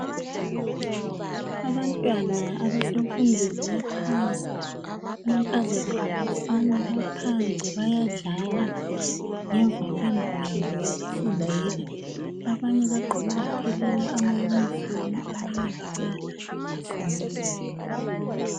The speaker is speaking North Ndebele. Abantwana abasemfundweni yaphansi amankazana labafana baphandle bayadlala ngemva kwendlu yabo yokufundela. Abanye bagqoke baphelela amayunifomu abanye abala amayunifomu.